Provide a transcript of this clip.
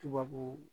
Tubabu